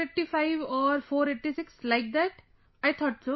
485 or486 like that, I thought so